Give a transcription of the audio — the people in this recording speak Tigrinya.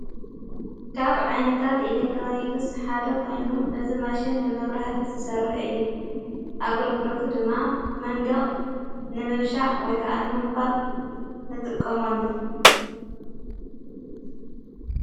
ካብ ዓይነታት ኤሌክትሮኒክስ ሓደ ኾይኑ እዝ ማሽን ብመብራህቲ ዝሰርሕ እዩ ኣገልግሎቱ ድማ መንዶቕ ንምብሻዕ ወይከኣነ ምንኳል ንጥቀሞሉ።